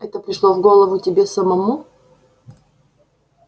это пришло в голову тебе самому